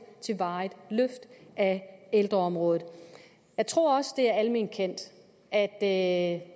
til et varigt løft af ældreområdet jeg tror også det er alment kendt at